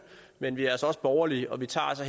men vi er altså også borgerlige og vi tager